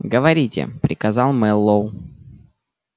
говорите приказал мэллоу